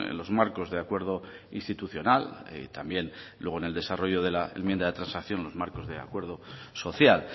los marcos de acuerdo institucional y también luego en el desarrollo de la enmienda de transacción los marcos de acuerdo social